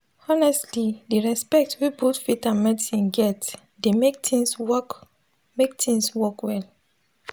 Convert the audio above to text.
honestly di respect wey both faith and medicine get dey mek things work mek things work well